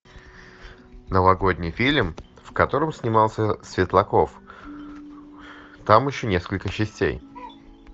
новогодний фильм в котором снимался светлаков там еще несколько частей